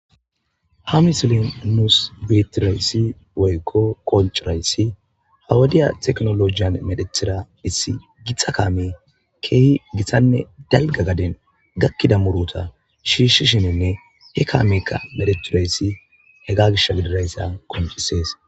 Ha misilin nuus betidayssi woykko qoncidayssi ha wudiya teknolojiyan medhethitida issi gitxa kaame keehi githanne dalga gaden gakkida murota shiishishininne he kaamekka medheturayssi hega gish gidirayssa koncisees.